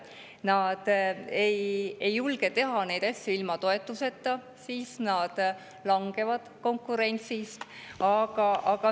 Nad ei julge teha neid asju ilma toetuseta, sest siis nad langevad konkurentsist.